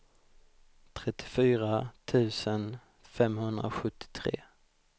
trettiofyra tusen femhundrasjuttiotre